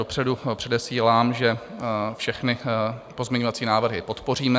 Dopředu předesílám, že všechny pozměňovací návrhy podpoříme.